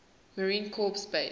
marine corps base